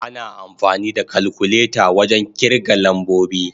Ana amfani da kalkuleta wajen kirga lambobi.